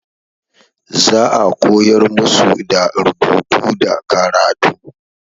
Za a koyar musu da rubutu da karatu.